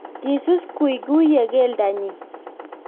kisus kuikuyie keldo nyin